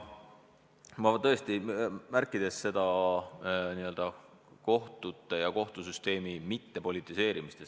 Ma olen märkinud, et kohtuid ja kohtusüsteemi ei tohi politiseerida.